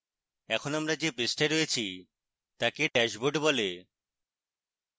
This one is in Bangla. আমরা এখন the পৃষ্ঠায় রয়েছি তাকে dashboard বলে